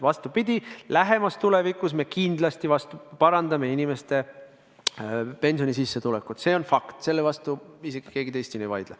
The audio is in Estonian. Vastupidi, lähemas tulevikus me kindlasti suurendame inimeste pensionisissetulekut – see on fakt, selle vastu isegi keegi teist siin ei vaidle.